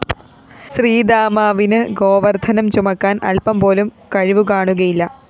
ശ്രീദാമാവിന് ഗോവര്‍ദ്ധനം ചുമക്കാന്‍ അല്പംപോലും കഴിവുകാണുകയില്ല